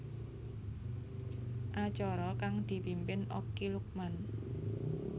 Acara kang dipimpin Okky Lukman